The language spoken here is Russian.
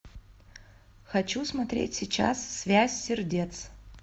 хочу смотреть сейчас связь сердец